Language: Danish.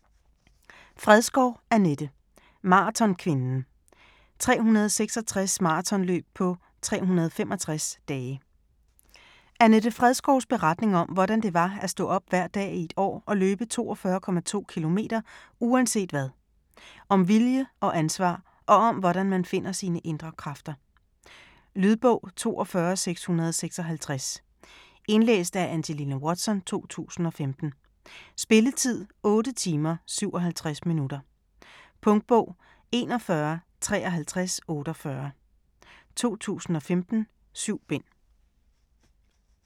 Fredskov, Annette: Maratonkvinden: 366 maratonløb på 365 dage Annette Fredskovs beretning om, hvordan det var at stå op hver dag i et år og løbe 42,2 kilometer uanset hvad. Om vilje og ansvar og om, hvordan man finder sine indre kræfter. Lydbog 42656 Indlæst af Angelina Watson, 2015. Spilletid: 8 timer, 57 minutter. Punktbog 415348 2015. 7 bind.